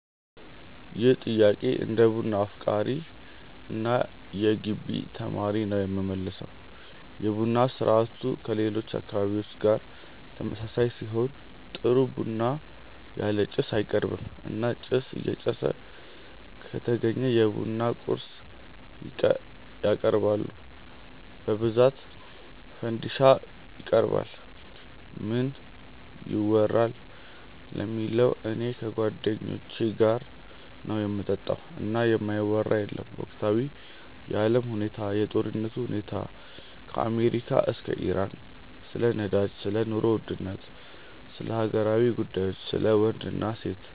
ይህን ጥያቄ እንደ ቡና አፍቃሪ እና የገቢ ተማሪ ነው የምመልሰው። የቡና ስርአቱ ከሌሎች አካባቢዎች ጋር ተመሳሳይ ሲሆን ጥሩ ቡና ያለ ጭስ አይቀርብም እና ጭስ እየጨሰ ከተገኘ የቡና ቁርስ ያቀርባሉ በብዛት ፈንዲሻ ይቀርባል። ምን ይወራል ለሚለው እኔ ከጓደኞቼ ጋር ነው ምጠጣው እና የማይወራ የለም ወቅታዊ የአለም ሁኔታ፣ የጦርነቱ ሁኔታ ከአሜሪካ እስከ ኢራን፣ ስለ ነዳጅ፣ ስለ ኑሮ ውድነት፣ ስለ ሀገራዊ ጉዳዮች፣ ስለ ወንድ እና ሴት፣